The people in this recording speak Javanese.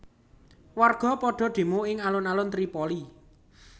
Warga padha demo ing alun alun Tripoli